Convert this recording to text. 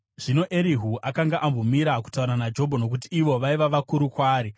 Zvino Erihu akanga ambomira kutaura naJobho nokuti ivo vaiva vakuru kwaari.